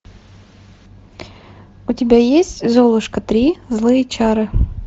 у тебя есть золушка три злые чары